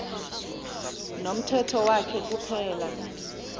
nomthetho wakhe kuphela